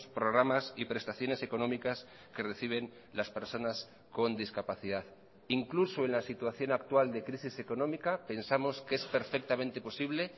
programas y prestaciones económicas que reciben las personas con discapacidad incluso en la situación actual de crisis económica pensamos que es perfectamente posible